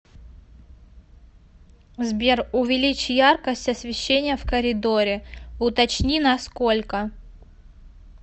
сбер увеличь яркость освещения в коридоре уточни на сколько